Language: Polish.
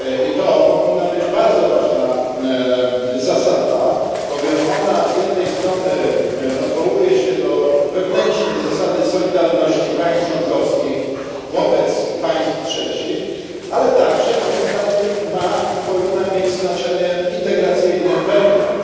To powinna być bardzo ważna zasada, bowiem z jednej strony odwołuje się ona do wewnętrznej zasady solidarności państw członkowskich wobec państw trzecich, ale także moim zdaniem ma i powinna mieć znaczenie integracyjne wewnątrz.